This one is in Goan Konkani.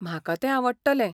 म्हाका तें आवडटलें!